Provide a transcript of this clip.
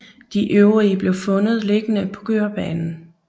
De øvrige blev fundet liggende på kørebanen